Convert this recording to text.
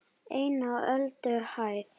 EIN Á ÖLDUHÆÐ